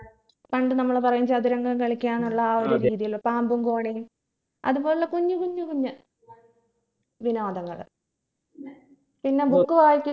പണ്ട് നമ്മൾ പറയും ചതുരംഗം കളിക്കാനുള്ള ആ ഒരു രീതിൽ പാമ്പും കോണിയും അത് പോലുള്ള കുഞ്ഞു കുഞ്ഞു കുഞ്ഞ് വിനോദങ്ങൾ പിന്നെ book വായ്